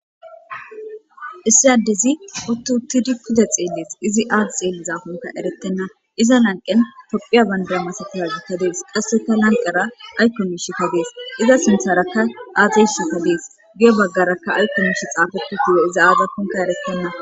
issi addezi huttu huttidi kude xeeles izi aati xeelli zaafunka erettenna iza lanqen tophiya bandaa masa tahazi kadees qasseka lanqara aykkon mish ka gees iza sintharakka aatey shin po dees gee baggarakka aykkon miishi xaafetu gu7o iza aadakunka eretenna